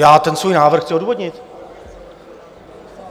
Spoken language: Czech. Já ten svůj návrh chci odůvodnit.